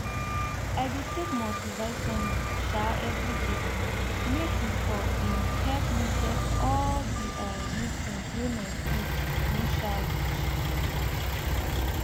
i dey take multivitamin um every day make e for em help me get all the um nutrient wey my food no um reach